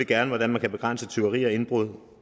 gerne hvordan man kan begrænse tyveri og indbrud